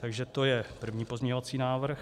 Takže to je první pozměňovací návrh.